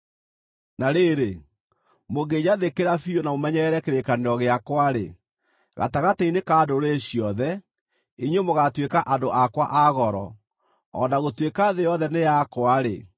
Na rĩrĩ, mũngĩnjathĩkĩra biũ na mũmenyerere kĩrĩkanĩro gĩakwa-rĩ, gatagatĩ-inĩ ka ndũrĩrĩ ciothe, inyuĩ mũgaatuĩka andũ akwa a goro. O na gũtuĩka thĩ yothe nĩ yakwa-rĩ,